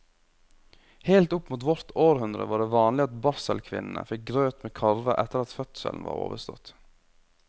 Helt opp mot vårt århundre var det vanlig at barselkvinnene fikk grøt med karve etter at fødselen var overstått.